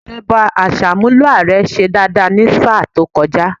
Ìṣèjọba Àṣàmúlò ààrẹ ṣe dáadáa ní sáà tó kọjá